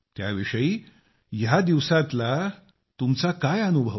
त्याविषयी या दिवसातला तुमचा काय अनुभव आहे